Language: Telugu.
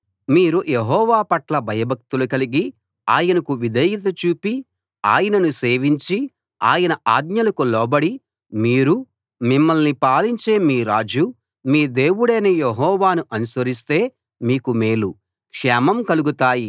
మీరు యెహోవా పట్ల భయభక్తులు కలిగి ఆయనకు విధేయత చూపి ఆయనను సేవించి ఆయన ఆజ్ఞలకు లోబడి మీరూ మిమ్మల్ని పాలించే మీ రాజూ మీ దేవుడైన యెహోవాను అనుసరిస్తే మీకు మేలు క్షేమం కలుగుతాయి